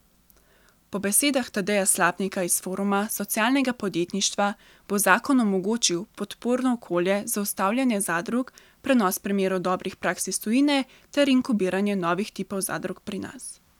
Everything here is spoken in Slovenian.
Po besedah Tadeja Slapnika iz Foruma socialnega podjetništva bo zakon omogočil podporno okolje za ustanavljanje zadrug, prenos primerov dobrih praks iz tujine ter inkubiranje novih tipov zadrug pri nas.